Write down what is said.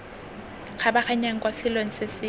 kgabaganyang kwa selong se se